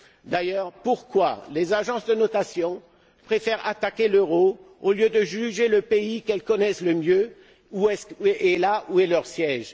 D'ailleurs, pourquoi les agences de notation préfèrent elles attaquer l'euro, au lieu de juger le pays qu'elles connaissent le mieux et où se trouve leur siège?